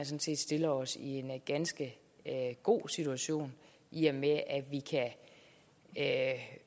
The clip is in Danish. set stiller os i en ganske god situation i og med at